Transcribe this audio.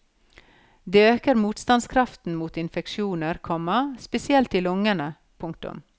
Det øker motstandskraften mot infeksjoner, komma spesielt i lungene. punktum